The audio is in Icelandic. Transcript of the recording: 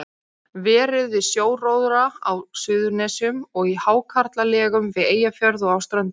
Verið við sjóróðra á Suðurnesjum og í hákarlalegum við Eyjafjörð og á Ströndum.